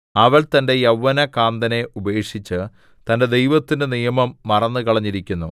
അവൾ തന്റെ യൗവനകാന്തനെ ഉപേക്ഷിച്ച് തന്റെ ദൈവത്തിന്റെ നിയമം മറന്നുകളഞ്ഞിരിക്കുന്നു